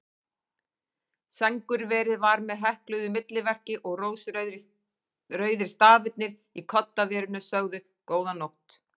Sængurverið var með hekluðu milliverki og rósrauðir stafirnir í koddaverinu sögðu: Góða nótt.